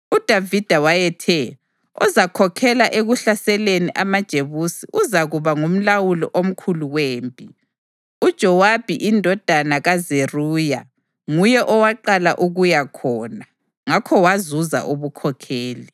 UDavida wayethe, “Ozakhokhela ekuhlaseleni amaJebusi uzakuba nguMlawuli omkhulu wempi.” UJowabi indodana kaZeruya nguye owaqala ukuya khona, ngakho wazuza ubukhokheli.